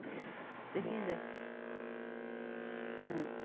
Se fizer. Se